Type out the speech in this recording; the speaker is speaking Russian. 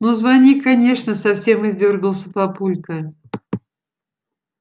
ну звони конечно совсем издёргался папулька